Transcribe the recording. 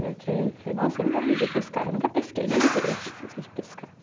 Falei, nossa, eu nunca me vi pescar, eu nunca pesquei, nem de criança, não gostei de pescar.